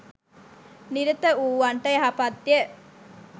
නිරතවූවන්ට යහපත්ය.